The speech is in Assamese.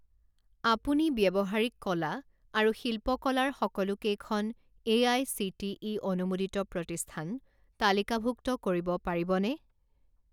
আপুনি ব্যৱহাৰিক কলা আৰু শিল্পকলা ৰ সকলোকেইখন এআইচিটিই অনুমোদিত প্ৰতিষ্ঠান তালিকাভুক্ত কৰিব পাৰিবনে?